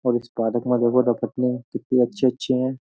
और इस पादक में देखो रपटनी कितनी अच्छी-अच्छी हैं।